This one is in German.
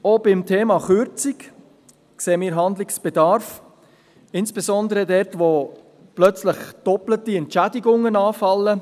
Auch beim Thema Kürzung sehen wir Handlungsbedarf, insbesondere dort, wo plötzlich doppelte Entschädigungen anfallen.